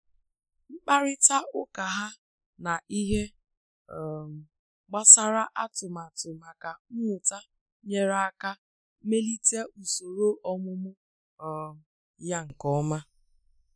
Mkparịta ụka ha na ihe um gbasara atụmatụ maka mmụta nyere aka melite usoro ọmụmụ um ya nke ọma